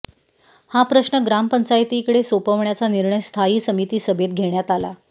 हा प्रश्न ग्रामपंचायतीकडे सोपवण्याचा निर्णय स्थायी समिती सभेत घेण्यात आला